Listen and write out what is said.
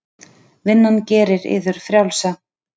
Vinnan gerir yður frjálsa.